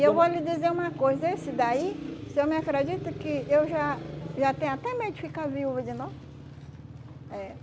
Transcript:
Eu vou lhe dizer uma coisa, esse daí, o senhor me acredita que eu já já tenho até medo de ficar viúva de novo? É.